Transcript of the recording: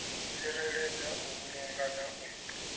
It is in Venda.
tsireledza u vhulunga na u